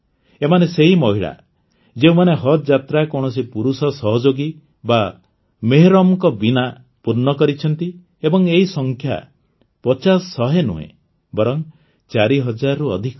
ଏମାନେ ସେହି ମହିଳା ଯେଉଁମାନେ ହଜ୍ ଯାତ୍ରା କୌଣସି ପୁରୁଷ ସହଯୋଗୀ ବା ମେହରମ୍ଙ୍କ ବିନା ପୂର୍ଣ୍ଣ କରିଛନ୍ତି ଏବଂ ଏହି ସଂଖ୍ୟା ପଚାଶ ଶହେ ନୁହେଁ ବରଂ ୪ ହଜାରରୁ ଅଧିକ